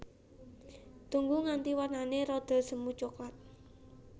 Tunggu nganti warnané rada semu coklat